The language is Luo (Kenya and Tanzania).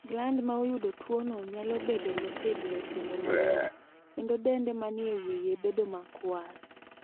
Gland ma oyudo tuwono nyalo bedo motegno kendo mayom, kendo dende ma ni e wiye bedo makwar.